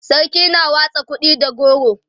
sarki na watsa kuɗi da goro